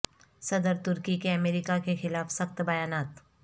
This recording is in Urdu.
صدر ترکی کے امریکہ کے خلاف سخت بیانات